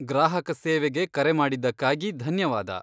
ಗ್ರಾಹಕ ಸೇವೆಗೆ ಕರೆ ಮಾಡಿದ್ದಕ್ಕಾಗಿ ಧನ್ಯವಾದ.